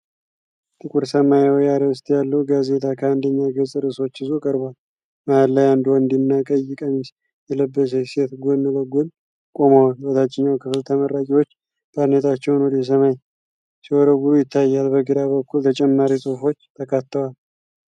ጥቁር ሰማያዊ አርዕስት ያለው ጋዜጣ ከአንደኛ ገጽ ርዕሶችን ይዞ ቀርቧል። መሀል ላይ አንድ ወንድና ቀይ ቀሚስ የለበሰች ሴት ጎን ለጎን ቆመዋል። በታችኛው ክፍል ተመራቂዎች ባርኔጣዎቻቸውን ወደ ሰማይ ሲወረውሩ ይታያል፣ በግራ በኩል ተጨማሪ ጽሑፎች ተካተዋል።